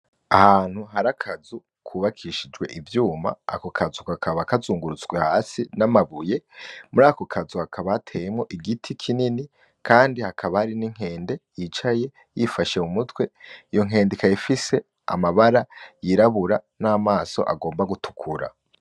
Ahantu hari akazu kubakishijwe ivyuma, ako kazu kakaba kazungurutswe hasi n'amabuye, muri ako kazu hakaba hateyemwo igiti kinini kandi hakaba hari n'inkende yicaye yifashe ku mutwe, iyo nkende ikaba ifise amabara yirabura n'amaso agomba gutukura.